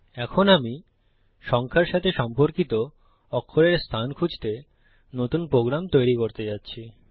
এখন আমি নম্বরের সাথে সম্পর্কিত অক্ষরের অবস্থান খুজতে নতুন প্রোগ্রাম তৈরী করতে যাচ্ছি